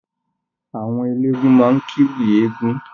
Àwọn elégún máa kiwì eegún.